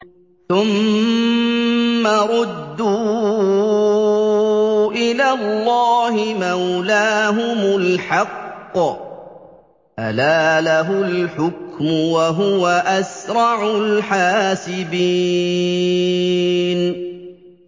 ثُمَّ رُدُّوا إِلَى اللَّهِ مَوْلَاهُمُ الْحَقِّ ۚ أَلَا لَهُ الْحُكْمُ وَهُوَ أَسْرَعُ الْحَاسِبِينَ